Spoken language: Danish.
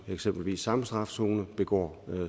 eksempelvis samme strafzone begår